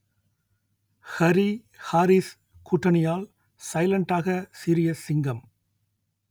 ஹரி ஹாரிஸ் கூட்டணியால் சைலண்டாக சீறிய சிங்கம்